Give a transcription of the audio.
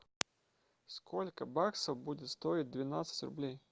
сколько баксов будет стоить двенадцать рублей